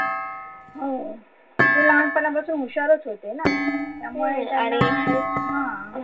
हो ते लहानपणा पासून हुषारचं होते ना त्यामुळे त्यांना आहे हा